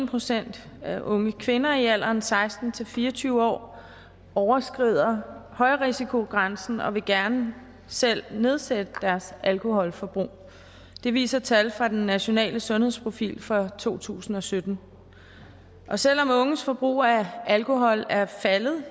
procent af unge kvinder i alderen seksten til fire og tyve år overskrider højrisikogrænsen og vil gerne selv nedsætte deres alkoholforbrug det viser tal fra den nationale sundhedsprofil for to tusind og sytten selv om unges forbrug af alkohol er faldet